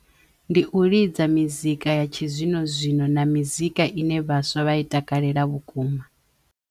Ndi u lidza mizika ya tshi zwino zwino na mizika i ne vhaswa vha i takalela vhukuma.